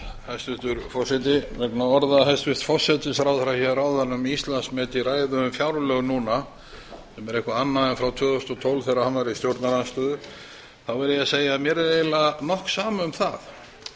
hæstvirtur forseti vegna orða hæstvirts forsætisráðherra hér áðan um íslandsmet í ræðu um fjárlög núna sem er eitthvað annað en frá tvö þúsund og tólf þegar hann var í stjórnarandstöðu verð ég að segja að mér er eiginlega nokk sama um það